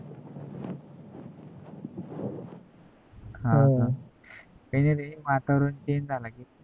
हा हा काय नाही रे वातावरण change झाल कि